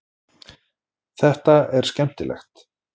Þetta er skemmtilegt.